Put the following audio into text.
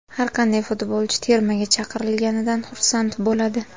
Har qanday futbolchi termaga chaqirilganidan xursand bo‘ladi.